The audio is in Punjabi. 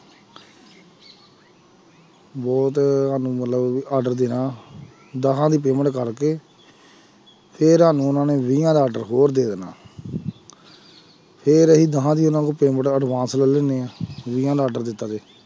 ਬਹੁਤ ਸਾਨੂੰ ਮਤਲਬ ਵੀ order ਦੇਣਾ ਦਸਾਂ ਦੀ payment ਕਰਕੇ ਫਿਰ ਸਾਨੂੰ ਉਹਨਾਂ ਨੇ ਵੀਹਾਂ ਦਾ order ਹੋਰ ਦੇ ਦੇਣਾ ਫਿਰ ਅਸੀਂ ਦਸਾਂ ਦੀ ਪੇਅਮੈਂਟਾਂ advance ਲੈ ਲੈਂਦੇ ਹਾਂ ਵੀਹਾਂ ਦਾ order ਦਿੱਤਾ